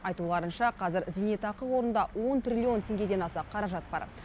айтуларынша қазір зейнетақы қорында он триллион теңгеден аса қаражат бар